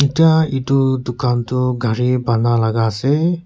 etia etu dukan toh gari banaalaga ase.